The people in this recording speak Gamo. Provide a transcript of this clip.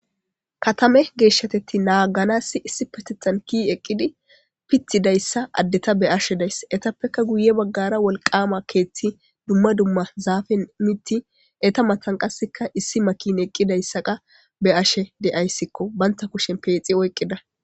Katame geeshshatetti naaganassi issi patethan ki eqqidi pithidayssa addeta be ashe days etappeka guye baggara wolqama keethti dumma dumma zaafe miti eta matan qasseka issi makin eqqidayssaqa be ashe de'ayssikko banta kushen peexi oyqqida.